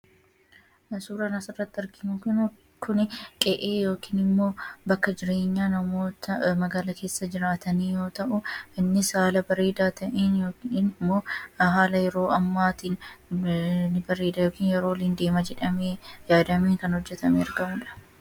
Suuraan asirratti arginu kun qe'ee yookaan bakka jireenyaa namoota magaalaa keessa juraatanii yoo ta’u, innis haala bareedaa ta'een yookaan haala yeroo ammaatiin hin deema jedhamee yaadameen hojjetamee kan argamudha.